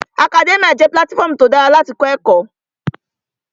Akadẹ́míà jẹ́ pílátífọmu tí ó dára láti kọ́ ẹ̀kọ́